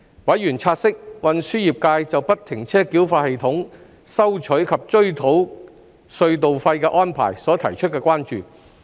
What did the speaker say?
委員察悉運輸業界就不停車繳費系統收取及追討隧道費的安排所提出的關注。